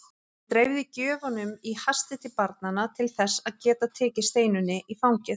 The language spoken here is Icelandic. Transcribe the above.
Hann dreifði gjöfunum í hasti til barnanna til þess að geta tekið Steinunni í fangið.